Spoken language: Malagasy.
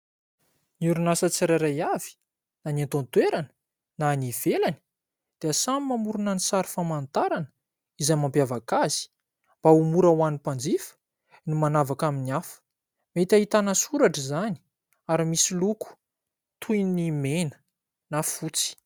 Ny orinasa tsirairay avy na ny ato an-toerana na ny ivelany dia samy mamorina ny sary famantarana izay mampiavaka azy ; mba ho mora ho an'ny mpanjifa ny manavaka amin'ny hafa. Mety ahitana soratra izany ary misy loko toy ny mena na fotsy.